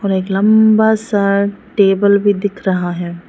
एक लंबा सा टेबल भी दिख रहा है।